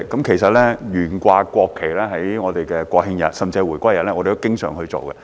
其實，我們都經常在國慶日甚至回歸日懸掛國旗。